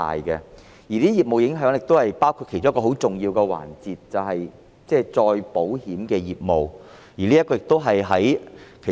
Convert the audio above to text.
這些影響其中一個很重要的環節，便是再保險的業務。